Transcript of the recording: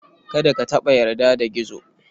Kada ka taɓa yarda da Gizo.